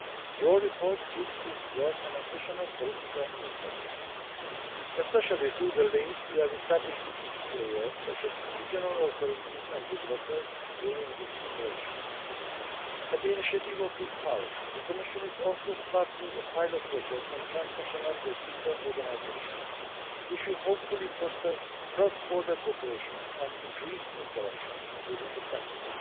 Your report gives this work an additional political impetus, especially through the links you have established with key players, such as regional authorities and developers, during its preparation. At the initiative of this House, the Commission is also starting a pilot project on trans national producer organisations, which will hopefully foster cross border cooperation and increase interactions within the sector.